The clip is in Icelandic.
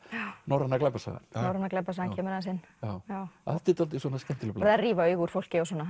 norræna glæpasagan norræna glæpasagan kemur aðeins inn dálítið skemmtileg blanda að rífa augu úr fólki og svona